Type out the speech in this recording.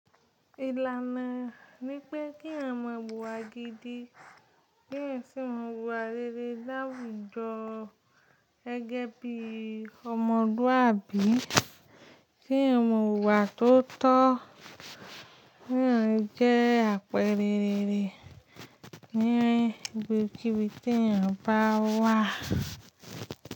Ìlànà ní pé kí eeyan mọ wu ìwà gidi, kí eeyan sì mọ wu ìwà rere láwùjọ gege bí ọmọluabi, kí eeyan mọ wu ìwà tó tọ́, kí eeyan jẹ́ àpẹẹrẹ rere ní ibi kíbi tí eeyan bá wà.